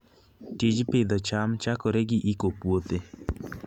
Tij pidho cham chakore gi iko puothe.